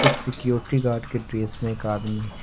एक security guard के dress में एक आदमी है।